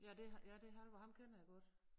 Ja det ja det Halvor ham kender jeg godt